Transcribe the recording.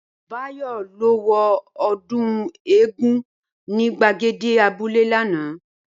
Báyò̩ lo̩ wo o̩dún eégún ní gbàgede abúlé lánàá